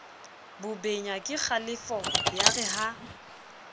bobenya kekgalefo ya re ha